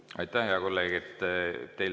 Aitäh, hea kolleeg!